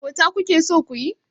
Abota kuke so kuyi?